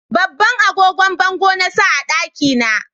Babban agogon bango na sa a daki na